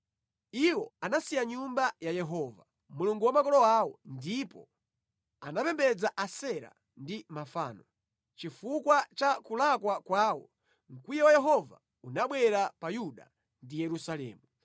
Iwo anasiya Nyumba ya Yehova, Mulungu wa makolo awo ndipo anapembedza Asera ndi mafano. Chifukwa cha kulakwa kwawo, mkwiyo wa Yehova unabwera pa Yuda ndi Yerusalemu.